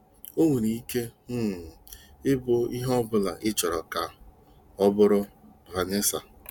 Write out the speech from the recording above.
Ọ nwere ike um ịbụ ihe ọ bụla ịchọrọ ka ọ bụrụ. "- Vanessa.